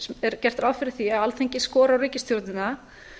er gert ráð fyrir því að alþingi skorar á ríkisstjórnina